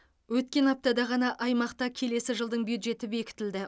өткен аптада ғана аймақта келесі жылдың бюджеті бекітілді